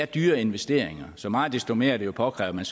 dyre investeringer så meget desto mere er det jo påkrævet